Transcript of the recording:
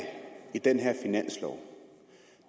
i den her finanslov